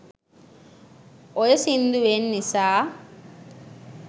ඔය සින්දුවෙන් නිසා